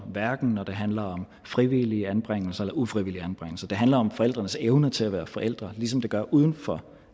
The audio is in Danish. hverken når det handler om frivillige anbringelser eller ufrivillige anbringelser det handler om forældrenes evne til at være forældre ligesom det gør uden for